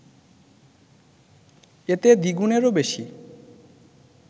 এতে দ্বিগুণেরও বেশি